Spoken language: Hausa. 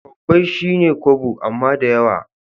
Kobbai shine kobo amma dayawa